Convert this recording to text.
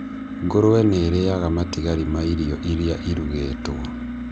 Ngũrũe nĩ irĩaga matigari ma irio iria irugĩtwo.